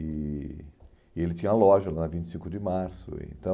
E e ele tinha loja lá, vinte e cinco de março, então...